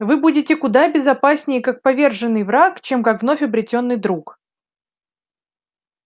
вы будете куда безопаснее как поверженный враг чем как вновь обретённый друг